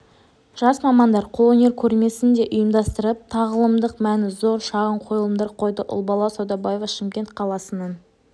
жас мамандар қолөнер көрмесін де ұйымдастырып тағылымдық мәні зор шағын қойылымдар қойды ұлбала саудабаева шымкент қаласының